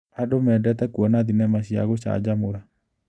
Andũ mendete kuona thinema cia gũcanjamũra.